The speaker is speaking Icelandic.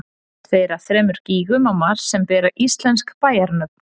Tveir af þremur gígum á Mars sem bera íslensk bæjarnöfn.